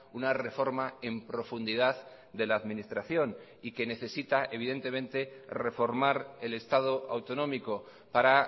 una reforma en profundidad de la administración y que necesita evidentemente reformar el estado autonómico para